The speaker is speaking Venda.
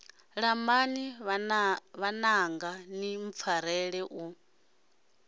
lambani vhananga ni mpfarele u